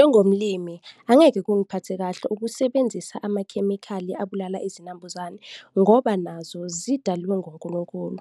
Njengomlimi, angeke kungiphathe kahle ukusebenzisa amakhemikhali abulala izinambuzane ngoba nazo zidalwe nguNkulunkulu